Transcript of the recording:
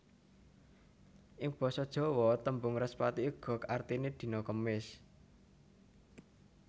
Ing basa Jawa tembung Respati uga artiné dina Kemis